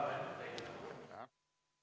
Istungi lõpp kell 11.46.